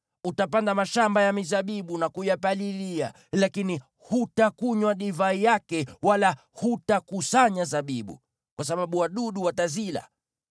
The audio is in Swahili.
Utapanda mashamba ya mizabibu na kuyapalilia, lakini hutakunywa divai yake wala hutakusanya zabibu, kwa sababu wadudu watazila.